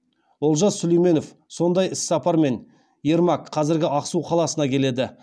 олжас сүлейменов сондай іс сапармен ермак қаласына келеді